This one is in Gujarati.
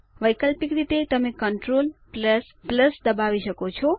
વૈકલ્પિક રીતે તમે ctrl દબાવી શકો છો